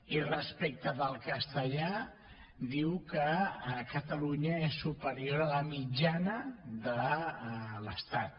i respecte del castellà diu que a catalunya és superior a la mitjana de l’estat